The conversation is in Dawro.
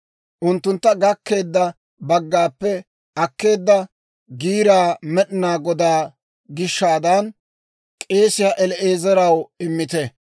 Unttuntta gakkeedda baggaappe akkeedda giiraa Med'inaa Godaa gishshaadan k'eesiyaa El"aazaraw immite.